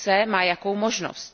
má jakou možnost.